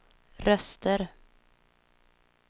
röster